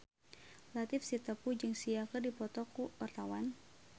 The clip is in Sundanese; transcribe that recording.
Latief Sitepu jeung Sia keur dipoto ku wartawan